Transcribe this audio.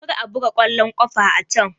Kar a buga ƙwallon kafa a can!